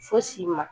Fosi ma